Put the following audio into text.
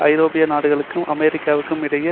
ஐரோப்பிய நாடுகளுக்கும் அமெரிக்காவிற்கும் இடையே